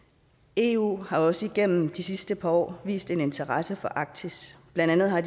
eu har også igennem de sidste par år vist interesse for arktis blandt andet har